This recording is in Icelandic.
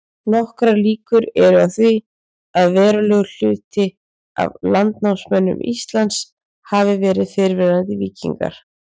Nokkrar líkur eru á því að verulegur hluti af landnámsmönnum Íslands hafi verið fyrrverandi víkingar.